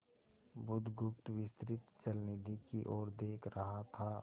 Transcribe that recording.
बुधगुप्त विस्तृत जलनिधि की ओर देख रहा था